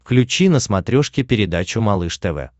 включи на смотрешке передачу малыш тв